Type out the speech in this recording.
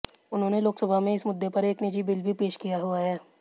उन्होंने लोकसभा में इस मुद्दे पर एक निजी बिल भी पेश किया हुआ है